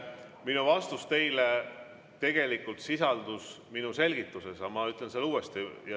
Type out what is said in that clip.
Mu vastus teile tegelikult sisaldus minu selgituses, ma ütlen selle uuesti.